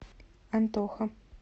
антоха